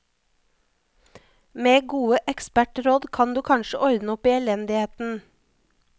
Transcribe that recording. Med gode ekspertråd kan du kanskje ordne opp i elendigheten.